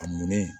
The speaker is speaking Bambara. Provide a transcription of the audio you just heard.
A nɔnnen